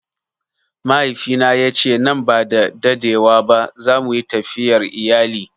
Mahaifina ya ce nan ba da dadewa ba za mu yi tafiyar iyali.